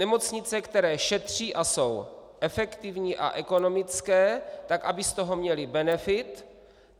Nemocnice, které šetří a jsou efektivní a ekonomické, tak aby z toho měly benefit.